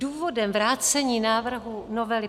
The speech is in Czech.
Důvodem vrácení návrhu novely